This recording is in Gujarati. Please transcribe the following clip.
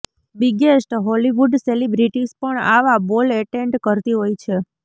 બિગેસ્ટ હોલિવૂડ સેલિબ્રિટીઝ પણ આવા બોલ એટેન્ડ કરતી હોય છે